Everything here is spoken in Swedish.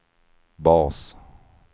bas